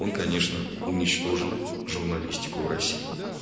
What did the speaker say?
он конечно уничтожил журналистику в россии